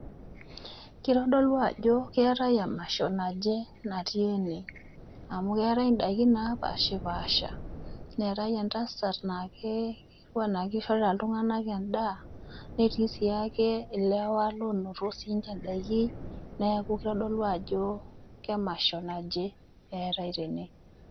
Keitodolu ajo keatai emasho naje natii ene, amu keatai indaiki naapaashipaasha, neatai entasat naake etiu anaa eishorita iltung'ana endaa, netii siake ilewa loinoto siininche indaiki, neaku keitodolu ajo emasho naje natii ene.